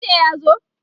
dj ya zo?